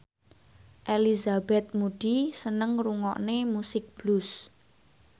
Elizabeth Moody seneng ngrungokne musik blues